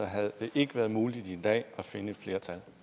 havde det ikke været muligt i dag at finde et flertal